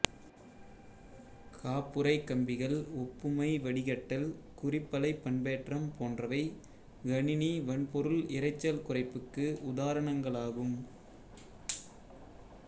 காப்புறைக் கம்பிகள் ஒப்புமை வடிகட்டல் குறிப்பலை பண்பேற்றம் போன்றவை கணினி வன்பொருள் இரைச்சல் குறைப்புக்கு உதாரணங்களாகும்